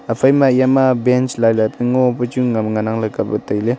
iphaima yama bench lailai pu ngopu chu nganang ley kapley tai ley.